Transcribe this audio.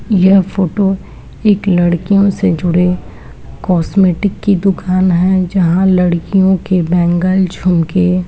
यह फोटो एक लडकियों से जुड़े कोस्मेटिक की दुकान है जहां लडकियों के बैंगल झुमके --